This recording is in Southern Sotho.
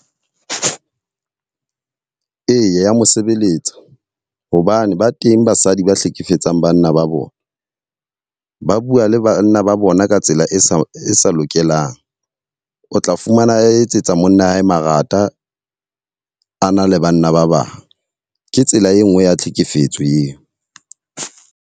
Eya, mosebeletsa hobane ba teng basadi ba hlekefetsang banna ba bona. Ba bua le banna ba bona ka tsela e sa e sa lokelang. O tla fumana etsetsa monna hae marata a na le banna ba bang. Ke tsela e nngwe ya tlhekefetso eo.